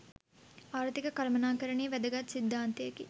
ආර්ථික කළමනාකරණයේ වැදගත් සිද්ධාන්තයකි.